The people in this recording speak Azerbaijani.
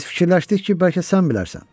Biz fikirləşdik ki, bəlkə sən bilərsən.